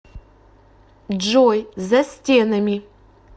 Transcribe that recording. джой за стенами